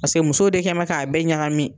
Paseke musow de kɛlen bɛ k'a bɛɛ ɲagamin